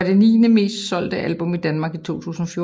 Det var det niende mest solgte album i Danmark i 2014